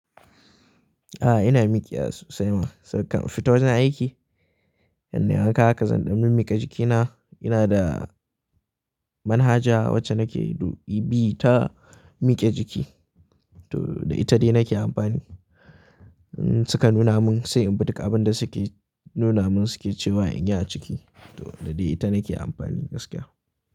A'a, ina miƙe a sosai ma. Sannan kan fito na yi aiki. Yadda na gan ka haka zan ɗan miƙe jikina. Ina da manhaja wacce nake dubi ta miƙe jiki to da ita dai nake amfani. Suka nuna mun sai in bi duka abin da suke nuna mun suke cewa in yi a ciki to da dai ita nake amfani gaskiya.